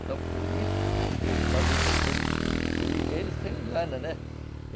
Então, por isso, talvez até ele... Ele ele se engana, né?